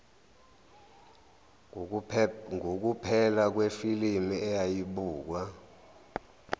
ngukuphela kwefilimu eyayibukwa